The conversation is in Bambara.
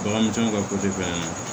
Bagan misɛnninw ka bɛ yan nɔ